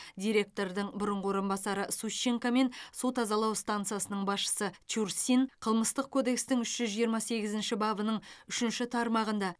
директордың бұрынғы орынбасары сущенко мен су тазалау стансасының басшысы чурсин қылмыстық кодекстің үш жиырма сегізінші бабының үшінші тармағында